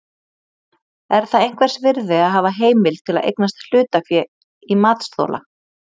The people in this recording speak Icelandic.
Er það einhvers virði að hafa heimild til að eignast hlutafé í matsþola?